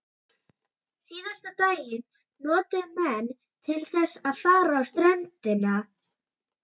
Síðasta daginn notuðu menn til þess að fara á ströndina.